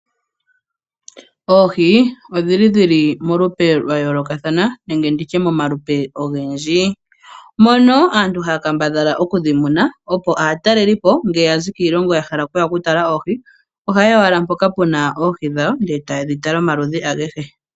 Oohi odhi li dhili molupe lwa yoolokathana nenge tu tye momalupe ogendji. Mono aantu haya kambadhala okudhi muna opo aatalelipo ngele ya zi kiilongo ya hala okuya oku tala oohi , oha ye ya owala mpoka pu na oohi dhawobndele taye dhi tala omaludhi agehe.